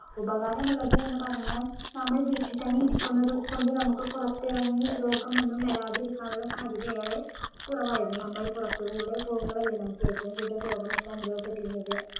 ഉപകാരമുള്ളത് എന്ന് പറഞ്ഞാൽ നമ്മൾ വീട്ടിൽ തന്നെ ഇരിക്കുന്നത് കൊണ്ട് നമ്മുക്ക് പുറത്തിറങ്ങി രോഗമൊന്നും വരാതിരിക്കാനുള്ള സാധ്യതയേറെ കുറവായിരുന്നു നമ്മൾ പുറത്തുകൂടെ പോകുമ്പോളല്ലേ നമ്മുക്ക് ഏറ്റവും കൂടുതൽ രോഗമൊക്കെ അനുഭവപ്പെട്ടിരുന്നത്